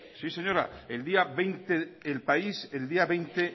sí señora el país el día veinte